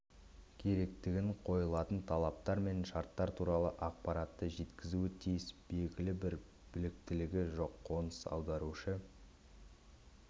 керектігін қойылатын талаптар мен шарттар туралы ақпаратты жеткізуі тиіс белгілі бір біліктілігі жоқ қоныс аударушы